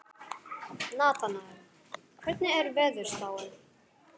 Natanael, hvernig er veðurspáin?